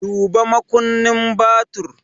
Duba makunnin babur!